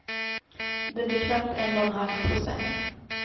Det blir knappt en och en halv procent.